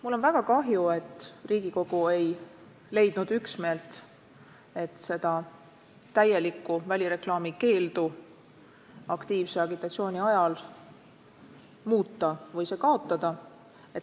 Mul on väga kahju, et Riigikogu ei leidnud üksmeelt, et täielik välireklaami keeld aktiivse agitatsiooni ajal kaotada või seda muuta.